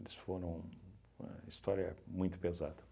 Eles foram... a história é muito pesada.